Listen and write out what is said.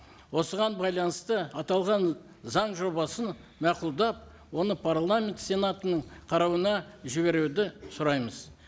осыған байланысты аталған заң жобасын мақұлдап оны парламент сенатының қарауына жіберуді сұраймыз